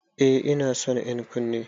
Eh ina son ƴan'ƙunnen.